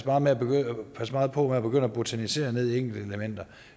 passe meget på med at begynde at botanisere i enkelte elementer